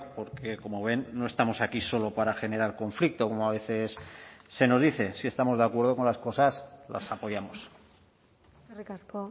porque como ven no estamos aquí solo para generar conflicto como a veces se nos dice si estamos de acuerdo con las cosas las apoyamos eskerrik asko